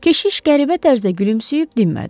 Keşiş qəribə tərzdə gülümsüyüb dinmədi.